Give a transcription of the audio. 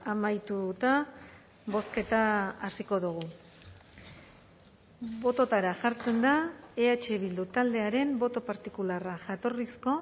amaituta bozketa hasiko dugu bototara jartzen da eh bildu taldearen boto partikularra jatorrizko